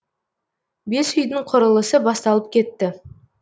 бес үйдің құрылысы басталып кетті